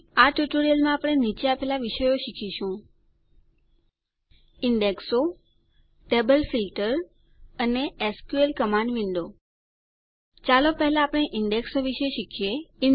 આ ટ્યુટોરીયલમાં આપણે નીચે આપેલ વિષયો શીખીશું ઈન્ડેક્સો ટેબલ ફીલ્ટર અને એસક્યુએલ કમાંડ વિન્ડો ચાલો પહેલા આપણે ઈન્ડેક્સો વિશે શીખીએ